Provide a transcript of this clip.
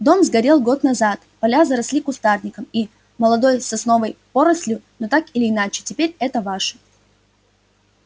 дом сгорел год назад поля заросли кустарником и молодой сосновой порослью но так или иначе теперь это ваше